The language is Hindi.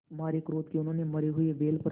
मारे क्रोध के उन्होंने मरे हुए बैल पर